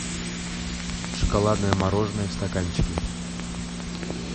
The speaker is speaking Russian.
шоколадное мороженое в стаканчике